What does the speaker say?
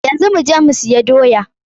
Yanzu mu je mu siya doya.